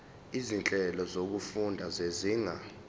izinhlelo zokufunda zezinga